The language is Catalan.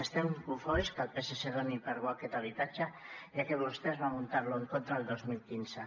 estem cofois que el psc doni per bo aquest impost ja que vostès van votar hi en contra el dos mil quinze